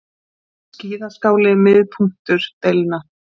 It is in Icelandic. Skíðaskáli miðpunktur deilna